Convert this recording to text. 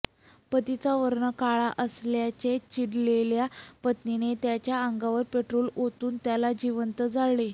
पतीचा वर्ण काळा असल्याने चिडलेल्या पत्नीने त्याच्या अंगावर पेट्रोल ओतून त्याला जिवंत जाळले